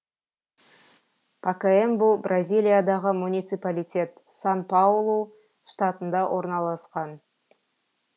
пакаэмбу бразилиядағы муниципалитет сан паулу штатында орналасқан